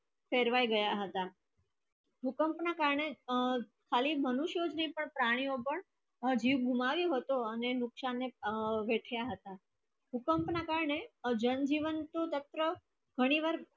ફેરવાય ગયા હત મૃતનક ના કારણે ખાલી મનુષ્ય ના પ્રાણીઓ પણ અજીબ બીમારી હતો અને નુકશાન ને હેટયા હતા ભૂકંપ ના કારણે એ જણજેવન નું સ્તર